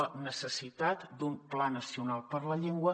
la necessitat d’un pla nacional per la llengua